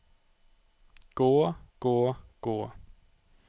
gå gå gå